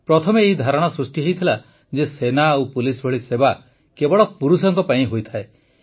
ପ୍ରଥମେ ଏହି ଧାରଣା ସୃଷ୍ଟି ହୋଇଥିଲା ଯେ ସେନା ଓ ପୁଲିସ ଭଳି ସେବା କେବଳ ପୁରୁଷଙ୍କ ପାଇଁ ହୋଇଥାଏ